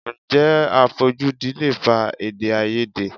Ǹjẹ́ àfojúdi lè fa Èdèáiyedé?